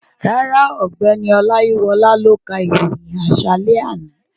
Rárá, ọ̀gbẹ́ni Ọláyíwọlá ló ka ìròyìn àṣálẹ́ àná